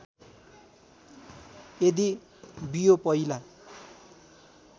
यदि बियो पहिला